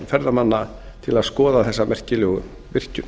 ferðamanna til skoða þessa merkilegu virkjun